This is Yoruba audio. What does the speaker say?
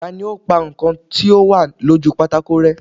Tani ó pa nǹkan tí ó wà lójú pátákó rẹ́?